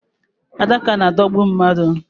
Adaka na-adọgbu mmadu.